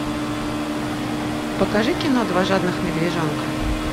покажи кино два жадных медвежонка